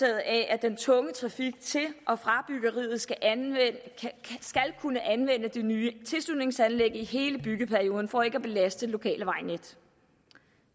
af at den tunge trafik til og fra byggeriet skal kunne anvende det nye tilslutningsanlæg i hele byggeperioden for ikke at belaste det lokale vejnet